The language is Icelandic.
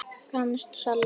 Franskt salat